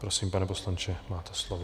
Prosím, pane poslanče, máte slovo.